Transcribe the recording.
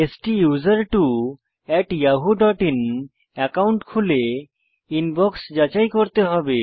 STUSERTWOyahooin account খুলে inbox যাচাই করতে হবে